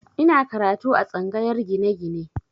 Ina karatu a tsangayar gine-gine